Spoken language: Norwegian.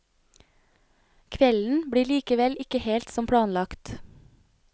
Kvelden blir likevel ikke helt som planlagt.